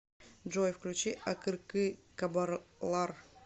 джой включи акыркы кабарлар